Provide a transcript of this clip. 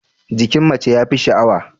Jikin mace ya fi sha'awa.